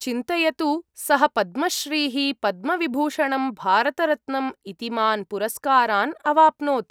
चिन्तयतु, सः पद्मश्रीः, पद्मविभूषणम्, भारतरत्नम् इतीमान् पुरस्कारान् अवाप्नोत्।